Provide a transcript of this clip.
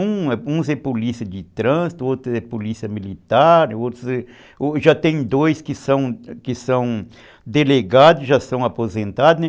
Uns são policiais de trânsito, outros são policiais militares, já tem dois que são delegados, já são aposentados.